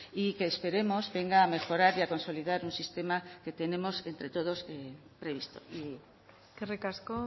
y que esperemos venga a mejorar y a consolidar un sistema que tenemos entre todos previsto eskerrik asko